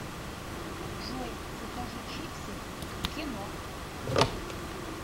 джой закажи чипсы к кино